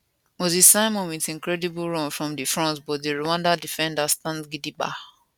moses simon wit incredible run from di front but di rwanda defenders stand gidigba